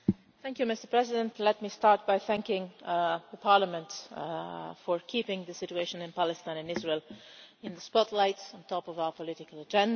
Mr President, let me start by thanking Parliament for keeping the situation in Palestine and Israel in the spotlight at the top of our political agenda.